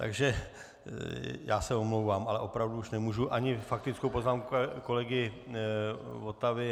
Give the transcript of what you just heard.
Takže já se omlouvám, ale opravdu už nemůžu ani faktickou poznámku kolegy Votavy.